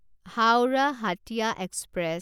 Howrah Hatia express